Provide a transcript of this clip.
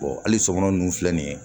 hali sɔmɔnɔ ninnu filɛ nin ye